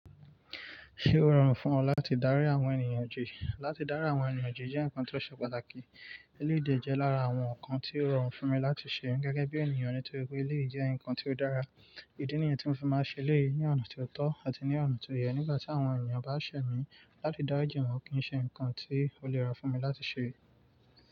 Ṣé ó rọrùn fún ọ láti dárí àwọn ènìyàn ju? Láti dárí àwọn ènìyàn ju jẹ́ nǹkan tó ṣe pàtàkì. Eléyìí lé jẹ́ lára àwọn nǹkan tí ó rọrùn fún mi láti ṣe gẹ́gẹ́ bí ènìyàn nítorí pé eléyìí jẹ́ nǹkan tí ó dára. Ìdí nìyẹn tí mo fi máa ń ṣe eléyìí ní ọ̀nà tó tọ́ àti ní ọ̀nà tó yẹ. Nígbà tí àwọn ènìyàn bá ṣẹ̀ mí láti dárí jìwọn kì í ṣe nǹkan tí ó lèra fún mi láti ṣe.